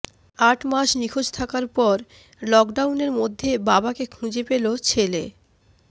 আট মাস নিখোঁজ থাকার পর লকডাউনের মধ্যে বাবাকে খুঁজে পেল ছেলে